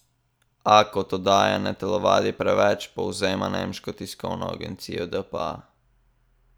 A, kot dodaja, ne telovadi preveč, povzema nemška tiskovna agencija dpa.